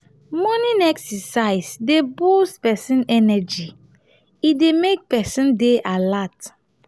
morning exercise dey boost person energy e dey make person dey alert